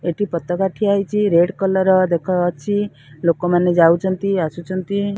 ଏଠି ପତକା ଠିଆ ହେଇଚି । ରେଡ୍ କଲର୍ ର ଦେଖ ଅଛି। ଲୋକମାନେ ଯାଉଛନ୍ତି ଆସୁଛନ୍ତି।